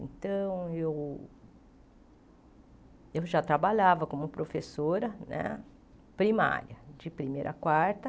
Então, eu eu já trabalhava como professora né primária, de primeira a quarta.